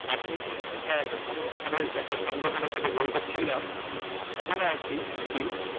আমি হ্যাঁ একটা সংগঠনের সংগঠনের সাথে জড়িত ছিলাম এখনো আছি still